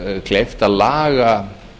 kleift að laga